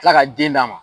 Tila ka den d'a ma